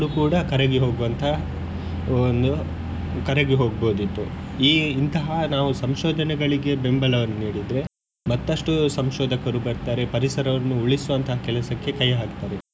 ಕೂಡಾ ಕರಗಿ ಹೋಗುವಂತಹ ಒಂದು ಕರಗಿ ಹೋಗ್ಬೋದಿತ್ತು ಈ ಇಂತಹ ನಾವು ಸಂಶೋದನೆಗಳಿಗೆ ಬೆಂಬಲವನ್ನು ನೀಡಿದ್ರೆ ಮತ್ತಷ್ಟು ಸಂಶೋದಕರು ಬರ್ತಾರೆ ಪರಿಸರವನ್ನು ಉಳಿಸುವಂತಹ ಕೆಲಸಕ್ಕೆ ಕೈ ಹಾಕ್ತಾರೆ.